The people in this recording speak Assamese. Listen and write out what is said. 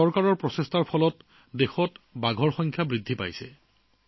চৰকাৰৰ প্ৰচেষ্টাৰ বাবেই যোৱা কেইবছৰমানৰ পৰা দেশত বাঘৰ সংখ্যা বৃদ্ধি পাইছে